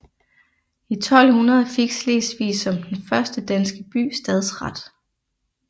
I 1200 fik Slesvig som den første danske by stadsret